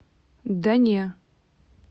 да не